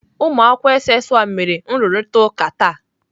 Ụmụakwụkwọ SS 1 mere nrụrịtaụka taa.